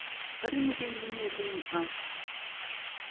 ka dinokeng le meeleng a